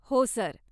हो, सर.